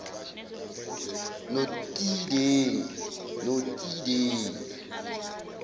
notidengi